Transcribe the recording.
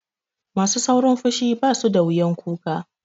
Masu saurin fushi basu da wuyan kuka.